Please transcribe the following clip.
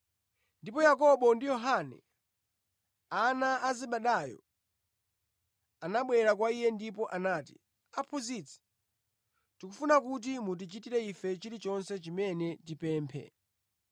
Ndipo Yakobo ndi Yohane, ana a Zebedayo, anabwera kwa Iye ndipo anati, “Aphunzitsi, tikufuna kuti mutichitire ife chilichonse chimene tipemphe.”